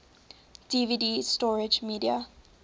dvd storage media